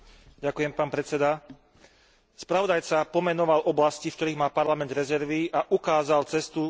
Spravodajca pomenoval oblasti, v ktorých má Parlament rezervy, a ukázal cestu k efektívnej práci a k úsporám.